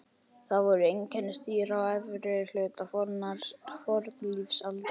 Þeir voru einkennisdýr á efri hluta fornlífsaldar.